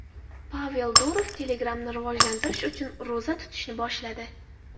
Pavel Durov Telegram’ni rivojlantirish uchun ro‘za tutishni boshladi.